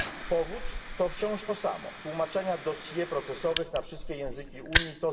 Powód to wciąż to samo tłumaczenia dossier procesowych na wszystkie języki Unii.